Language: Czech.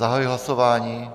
Zahajuji hlasování.